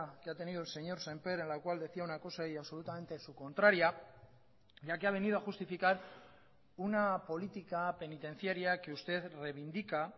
que ha tenido el señor sémper en la cual decía una cosa y absolutamente su contraria ya que ha venido a justificar una política penitenciaria que usted reivindica